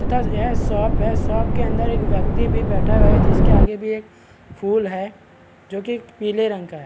तथा यह शॉप है शॉप के अंदर एक व्यक्ति भी बैठा हुआ है जिसके आगे भी एक फूल है जो कि पीले रंग का है।